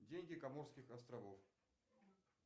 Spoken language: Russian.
деньги коморских островов